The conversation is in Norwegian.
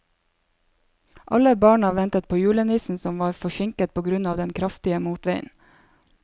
Alle barna ventet på julenissen, som var forsinket på grunn av den kraftige motvinden.